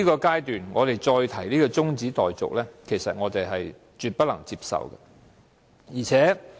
在這刻提出中止待續，我絕對不能接受。